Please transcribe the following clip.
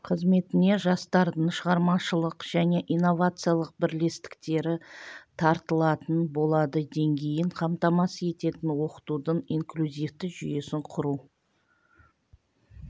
қызметіне жастардың шығармашылық және инновациялық бірлестіктері тартылатын болады деңгейін қамтамасыз ететін оқытудың инклюзивті жүйесін құру